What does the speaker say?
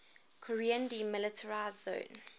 korean demilitarized zone